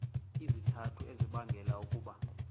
izizathu ezibangela ukuba